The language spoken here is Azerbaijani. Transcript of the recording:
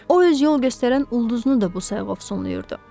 O öz yol göstərən ulduzunu da bu sayqovsonlayırdı.